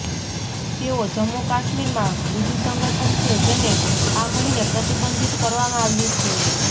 તેઓ જમ્મુ કાશ્મીરમાં બીજુ સંગઠન છે જેને આ મહિને પ્રતિબંધિત કરવામાં આવ્યું છે